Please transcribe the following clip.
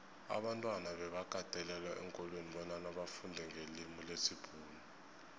abantwana bebakatelelwa eenkolweni bonyana bafundenqelimilesibhuxu